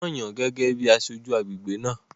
Wọ́n yàn án gẹ́gẹ́ bíi aṣojú agbègbè náà